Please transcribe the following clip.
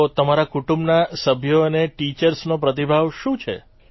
તો તમારા કુટુંબના સભ્યો અને ટીચર્સનો પ્રતિભાવ શું છે